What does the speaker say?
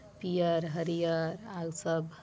पियर हरियर आल सब--